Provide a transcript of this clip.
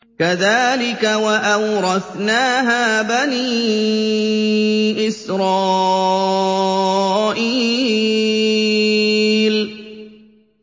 كَذَٰلِكَ وَأَوْرَثْنَاهَا بَنِي إِسْرَائِيلَ